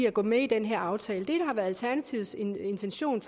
at gå med i den her aftale det der har været alternativets intention